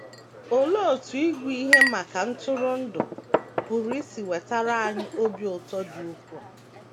Olee otú ịgụ ihe maka ntụrụndụ pụrụ isi wetara anyị obi ụtọ dị ukwuu?